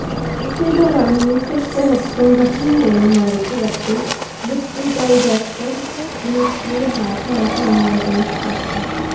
ਇਸੇ ਦੌਰਾਨ ਵਿਸ਼ਵ ਸਿਹਤ ਸੰਗਠਨ ਦੇ ਨੁਮਾਇੰਦੇ ਅਤੇ deputy director ministry of health Bangladesh ਡਾ